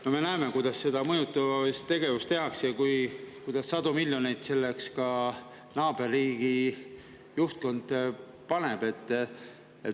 No me näeme, kuidas mõjutustegevust tehakse ja kuidas naaberriigi juhtkond sellesse sadu miljoneid paneb.